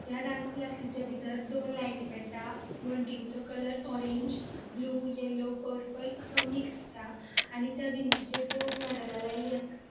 या डांस क्लासिच्या बितर दोन लाइटी पेट्टा वनटींचो colour orange blue yellow purple असो मिक्स आसा आणि त्या भिंतीचेर दोन मेडेला लायल्ली आसा.